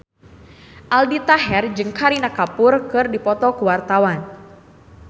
Aldi Taher jeung Kareena Kapoor keur dipoto ku wartawan